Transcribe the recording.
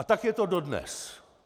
A tak je to dodnes.